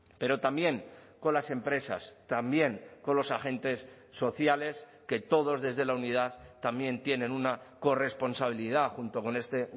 pero también con las empresas también con los agentes sociales que todos desde la unidad también tienen una corresponsabilidad junto con este